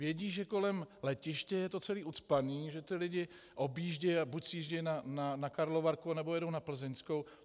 Vědí, že kolem letiště je to celé ucpané, že ti lidé objíždějí, a buď sjíždějí na Karlovarku, nebo jedou na Plzeňskou.